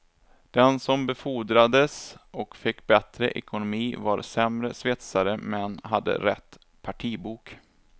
Den som befordrades och fick bättre ekonomi var sämre svetsare men hade rätt partibok.